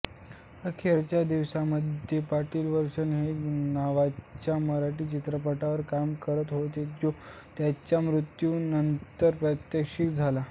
अखेरच्या दिवसांमध्ये पाटील वंशवेल नावाच्या मराठी चित्रपटावर काम करत होते जो त्यांच्या मृत्यूनंतर प्रदर्शीत झाला